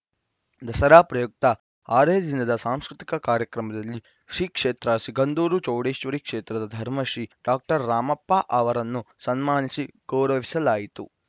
ದಸರಾ ಪ್ರಯುಕ್ತ ಆರನೇ ದಿನದ ಸಾಂಸ್ಕೃತಿಕ ಕಾರ್ಯಕ್ರಮದಲ್ಲಿ ಶ್ರೀಕ್ಷೇತ್ರ ಸಿಗಂದೂರು ಚೌಡೇಶ್ವರಿ ಕ್ಷೇತ್ರದ ಧರ್ಮದರ್ಶಿ ಡಾಕ್ಟರ್ ರಾಮಪ್ಪ ಅವರನ್ನು ಸನ್ಮಾನಿಸಿ ಗೌರವಿಸಲಾಯಿತು